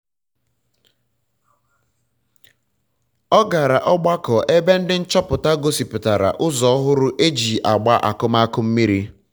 ọ gara ọgbakọ ebe ndị nchọpụta gosipụtara ụzọ ọhụrụ eji agba akụmakụ mmiri